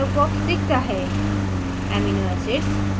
insert peptide dialog box दिखता है